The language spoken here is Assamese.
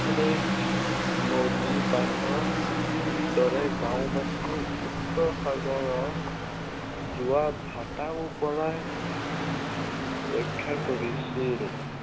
খনেই নদীবান্ধ দৰে গাঁওবাসীও উত্তৰ সাগৰৰ জোৱাৰ ভাটাৰ পৰাই ৰক্ষা কিৰছিল।